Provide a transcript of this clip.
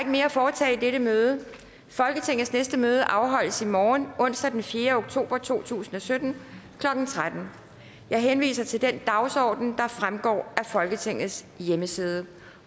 mere at foretage i dette møde folketingets næste møde afholdes i morgen onsdag den fjerde oktober to tusind og sytten klokken tretten jeg henviser til den dagsorden der fremgår af folketingets hjemmeside